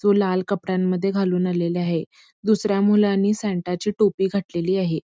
तो लाल कपड्यांमध्ये घालून आलेला आहे दुसऱ्या मुलांनी सॅन्टा ची टोपी घातलेली आहे.